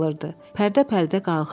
Pərdə-pərdə qalxırdı.